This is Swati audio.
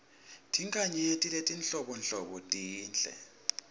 tinkhanyeti letinhlobonhlobo tinhle